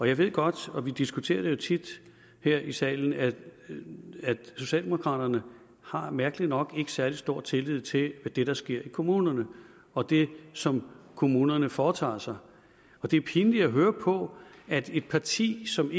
jeg ved godt og vi diskuterer det jo tit her i salen at socialdemokraterne mærkeligt nok ikke har særlig stor tillid til det der sker i kommunerne og det som kommunerne foretager sig det er pinligt at høre på at et parti som